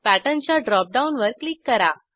pattern च्या drop डाऊनवर click करा